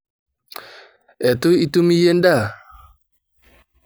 Etu itum iyie endaa?